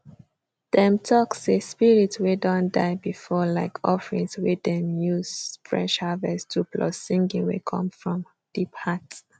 dem talk say spirit way don die before like offerings wey dem use fresh harvest do plus singing wey come from deep heart